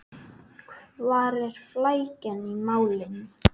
Hvar er flækjan í málinu?